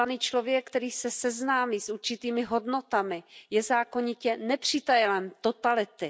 Vzdělaný člověk, který se seznámí s určitými hodnotami, je zákonitě nepřítelem totality.